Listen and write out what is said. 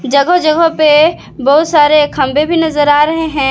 जगह जगह पे बहुत सारे खंभे भी नजर आ रहे हैं।